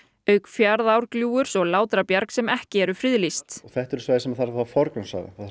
auk Fjaðrárgljúfurs og Látrabjargs sem ekki eru friðlýst þetta eru svæði sem þarf að forgangsraða